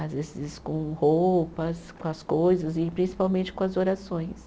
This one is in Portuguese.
Às vezes com roupas, com as coisas e principalmente com as orações.